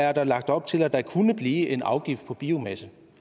er der lagt op til at der kunne blive en afgift på biomasse